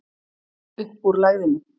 Upp úr lægðinni